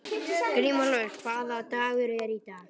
Grímúlfur, hvaða dagur er í dag?